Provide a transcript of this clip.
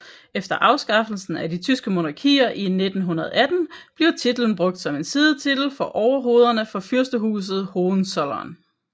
Efter afskaffelsen af de tyske monarkier i 1918 bliver titlen brugt som en sidetitel for overhovederne for Fyrstehuset Hohenzollern